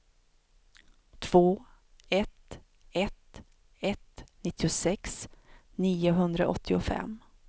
två ett ett ett nittiosex niohundraåttiofem